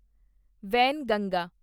Wainganga